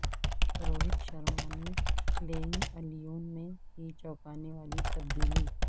روہت شرما نے playing eleven میں کی چونکانے والی تبدیلی